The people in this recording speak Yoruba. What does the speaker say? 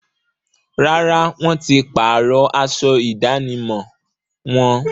Rárá, wọ́n ti páàrọ̀ aṣọ ìdánimọ̀ wọn